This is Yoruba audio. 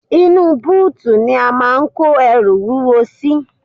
Inú bóòtù ni a máà ń kó ẹrù wúwo sí.